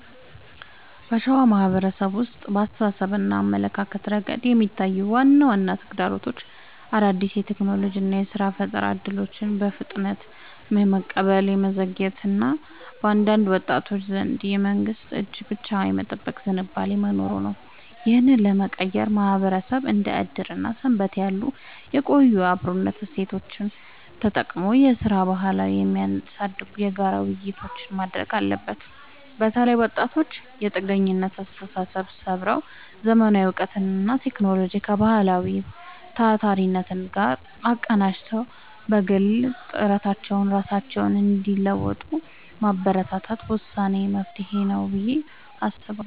በሸዋ ማህበረሰብ ውስጥ በአስተሳሰብና አመለካከት ረገድ የሚታዩት ዋና ዋና ተግዳሮቶች አዳዲስ የቴክኖሎጂና የሥራ ፈጠራ እድሎችን በፍጥነት የመቀበል መዘግየት እና በአንዳንድ ወጣቶች ዘንድ የመንግስትን እጅ ብቻ የመጠበቅ ዝንባሌ መኖሩ ነው። ይህንን ለመቀየር ማህበረሰቡ እንደ ዕድርና ሰንበቴ ያሉ የቆዩ የአብሮነት እሴቶቹን ተጠቅሞ የሥራ ባህልን የሚያሳድጉ የጋራ ውይይቶችን ማድረግ አለበት። በተለይ ወጣቶች የጥገኝነት አስተሳሰብን ሰብረው: ዘመናዊ እውቀትንና ቴክኖሎጂን ከባህላዊው ታታሪነት ጋር አቀናጅተው በግል ጥረታቸው ራሳቸውን እንዲለውጡ ማበረታታት ወሳኝ መፍትሄ ነው ብዬ አስባለሁ።